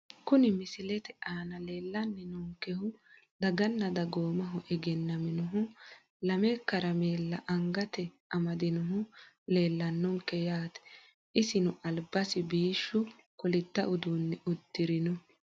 Kuni misilete aana leelani noonkehu daganna dagoomaho egenaminohu lamme karameela angate amadinohu leelanonke yaate isino albasi biishu kolidda uduune udirino.